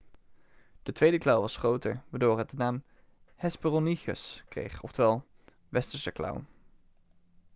de tweede klauw was groter waardoor het de naam hesperonychus kreeg oftewel westerse klauw'